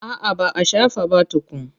A'a ba a shafa ba tukun.